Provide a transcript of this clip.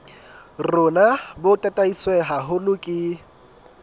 rona bo tataiswe haholo ke